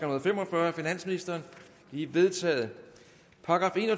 og fem og fyrre af finansministeren de er vedtaget